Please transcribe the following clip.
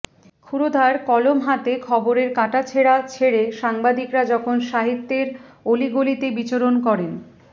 ক্ষুরধার কলম হাতে খবরের কাটাছেঁড়া ছেড়ে সাংবাদিকরা যখন সাহিত্যের অলিগলিতে বিচরণ করেন